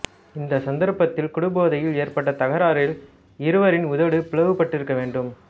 இந்த சந்தர்ப்பத்தில் குடிபோதையில் ஏற்பட்ட தகராறில் இவரின் உதடு பிளவுபட்டிருக்க வேண்டும்